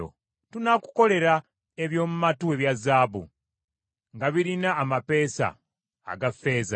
Tunaakukolera eby’oku matu ebya zaabu, nga birina amapeesa aga ffeeza.